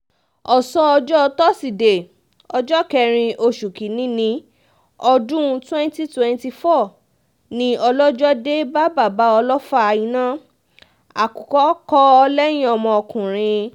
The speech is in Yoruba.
ọ̀sán ọjọ́ tọ́sídẹ̀ẹ́ ọjọ́ kẹrin oṣù kín-ín-ní ọdún twenty twenty four ni ọlọ́jọ́ dé bá bàbá ọlọ́fà-iná àkùkọ kọ lẹ́yìn ọmọkùnrin